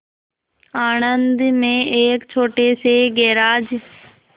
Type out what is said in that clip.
आणंद में एक छोटे से गैराज